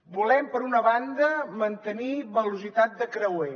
volem per una banda mantenir velocitat de creuer